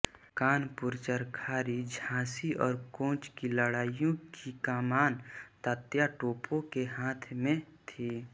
कानपुर चरखारी झाँसी और कोंच की लडाइयों की कमान तात्या टोपे के हाथ में थी